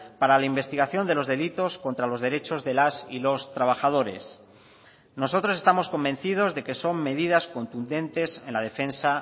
para la investigación de los delitos contra los derechos de las y los trabajadores nosotros estamos convencidos de que son medidas contundentes en la defensa